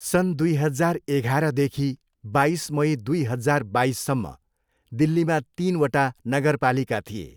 सन् दुई हजार एघारदेखि बाइस मई दुई हजार बाइससम्म दिल्लीमा तिनवटा नगरपालिका थिए।